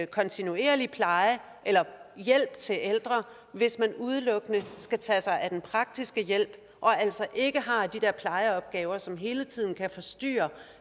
kontinuerlig hjælp til ældre hvis man udelukkende skal tage sig af den praktiske hjælp og altså ikke har de der plejeopgaver som hele tiden kan forstyrre